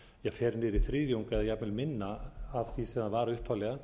fer niður í þriðjung eða jafnvel minna af því sem það var upphaflega